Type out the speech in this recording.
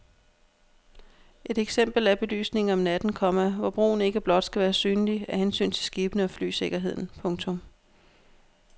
Et eksempel er belysningen om natten, komma hvor broen ikke blot skal være synlig af hensyn til skibene og flysikkerheden. punktum